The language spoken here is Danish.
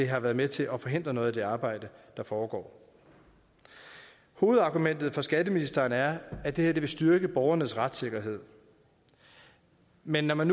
har været med til at forhindre noget af de arbejde der foregår hovedargumentet for skatteministeren er at det her vil styrke borgernes retssikkerhed men når man